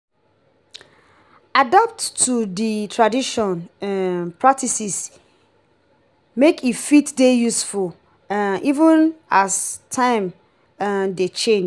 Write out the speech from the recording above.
adapt to di trational um practices make e fit dey useful um even as time um dey change